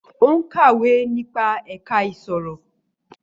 Ó ń kàwé nípa ẹ̀ka ìṣirò.